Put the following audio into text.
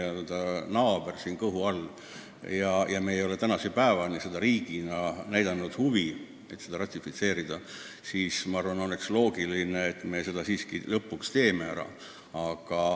Me oleme ju Soome naaber kohe tema kõhu all, ometi me ei ole tänase päevani riigina üles näidanud huvi selle konventsiooniga ühineda.